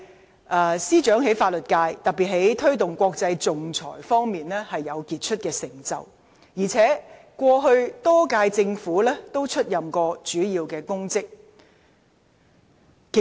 她在法律界，特別在推動國際仲裁方面有傑出的成就，在歷屆政府亦曾多次出任主要公職。